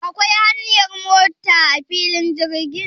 Akwai hanyar mota a filin jirgin?